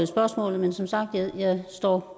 spørgsmålet men som sagt står